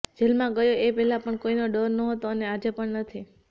જેલમાં ગયો એ પહેલાં પણ કોઈનો ડર નહોતો અને આજે પણ નથી